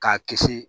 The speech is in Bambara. K'a kisi